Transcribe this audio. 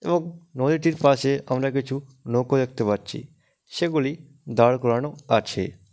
এবং নদীটির পাশে আমরা কিছু নৌক দেখতে পাচ্ছি। সেগুলি দাড় করানো আছে।